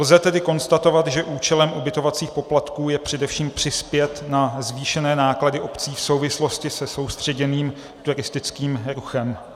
Lze tedy konstatovat, že účelem ubytovacích poplatků je především přispět na zvýšené náklady obcí v souvislosti se soustředěným turistickým ruchem.